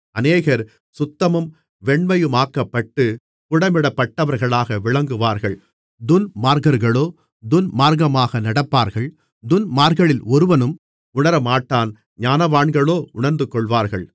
அநேகர் சுத்தமும் வெண்மையுமாக்கப்பட்டு புடமிடப்பட்டவர்களாக விளங்குவார்கள் துன்மார்க்கர்களோ துன்மார்க்கமாக நடப்பார்கள் துன்மார்க்கரில் ஒருவனும் உணரமாட்டான் ஞானவான்களோ உணர்ந்துகொள்வார்கள்